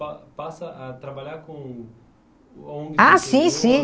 Pa passa a trabalhar com... ONGs no interior. Ah, sim, sim.